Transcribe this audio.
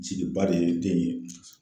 Jigiba de ye den ye